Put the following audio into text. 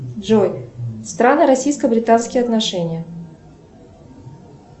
джой страны российско британские отношения